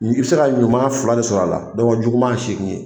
N'i bi se ka ɲuman fila de sɔrɔ a la, juguman ye seegin ye.